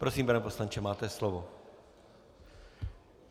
Prosím, pane poslanče, máte slovo.